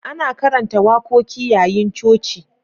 Ana karanta wakoki yayin coci.